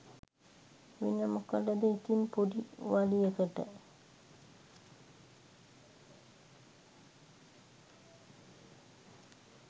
වෙන මොකටද ඉතින් පොඩි වලියකට